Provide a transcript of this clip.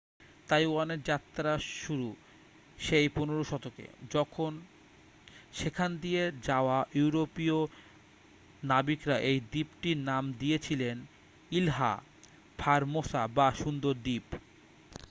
তাইওয়ানের যাত্রা শুরু সেই 15 শতকে যখন সেখান দিয়ে যাওয়া ইউরোপীয় নাবিকরা এই দ্বীপটির নাম দিয়েছিলেন ইলহা ফারমোসা বা সুন্দর দ্বীপ